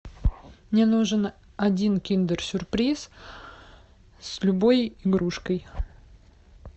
мне нужен один киндер сюрприз с любой игрушкой